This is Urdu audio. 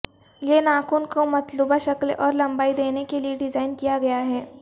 یہ ناخن کو مطلوبہ شکل اور لمبائی دینے کے لئے ڈیزائن کیا گیا ہے